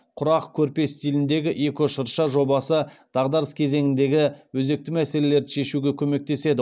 құрақ көрпе стиліндегі эко шырша жобасы дағдарыс кезеңіндегі өзекті мәселелерді шешуге көмектеседі